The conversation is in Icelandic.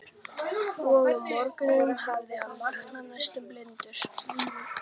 Og um morguninn hafði hann vaknað næstum blindur.